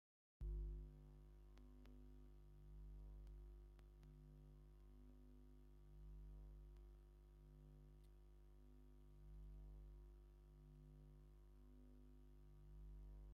ባህለዊ ክዳን ተከዲነን ጥዋፍ ኣብሪሀን ብፍሽክታ ተዓጂበን እታ ሓንቲ ጓል ኣንስተይቲ ድማ መነፀር ገይራ ኣላ ። ንስካትኩም ከ ንቤተክርስትያን ከይድኩም ትፈልጡ ዶ ?